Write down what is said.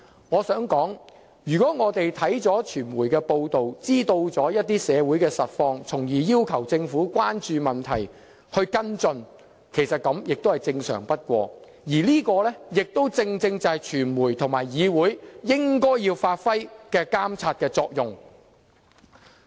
我想說，我們看到傳媒報道，得知社會某些實況，進而要求政府關注及跟進問題，實在是正常不過，而這亦正正是傳媒及議會應當發揮的監察作用。